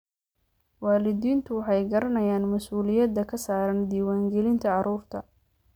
Waalidiintu way garanayaan mas'uuliyadda ka saaran diiwaangelinta carruurta.